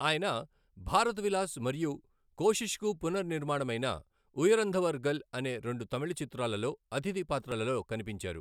ఆయన భారత్ విలాస్ మరియు కోషిష్కు పునర్నిర్మాణమైన ఉయర్ంధవర్గల్ అనే రెండు తమిళ చిత్రాలలో అతిథి పాత్రలలో కనిపించారు.